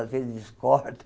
Às vezes, discordo.